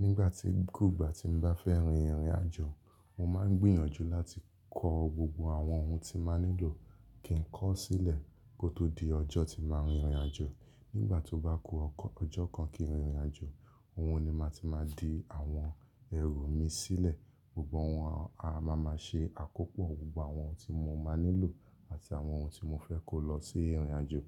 Nígbàtí kú gbà tí n bá fẹ́ rin ìrìnàjò, mo máa ń gbìyànjú láti ko gbogbo àwọn ohun tí máa nílò kí n kọ̀ sílẹ̀ kó tó di ọjọ́ tí màá rìn ìrìnàjò. Nígbàtí ó bá ku ọjọ́ kan kí n rìn ìrìnàjò, òhun ni màá ti máa di àwọn ẹrù mi sílẹ̀. Gbogbo òwọ́n a máa ma ṣe àkópọ̀ gbogbo àwọn ohun tí mo máa nílò àti àwọn ohun tí mo fẹ́ kó lọ sí ìrìnàjò.